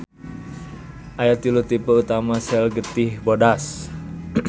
Aya tilu tipe utama sel getih bodas.